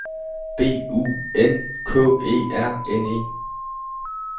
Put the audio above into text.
B U N K E R N E